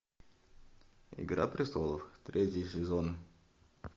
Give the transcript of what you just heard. игра престолов третий сезон